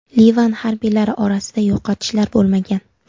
Livan harbiylari orasida yo‘qotishlar bo‘lmagan.